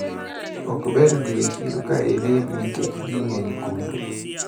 Okber dhi e chiro kailil nikech ji ng`eny kuro.